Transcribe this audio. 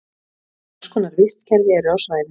margs konar vistkerfi eru á svæðinu